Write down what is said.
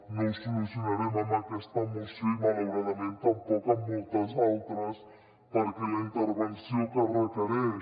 no ho solucionarem amb aquesta moció i malauradament tampoc amb moltes altres perquè la intervenció que requereix